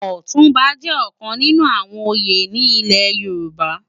Òtunbá jè òkán ninú àwòn óyé ni ilè Yoruba